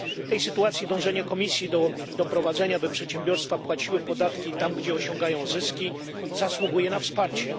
W tej sytuacji dążenie Komisji do doprowadzenia, by przedsiębiorstwa płaciły podatki tam, gdzie osiągają zyski, zasługuje na wsparcie.